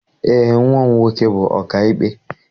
Eé, nnwa m nwoke bụ ọkaikpe.